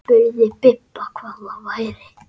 Spurði Bibba hvað það væri.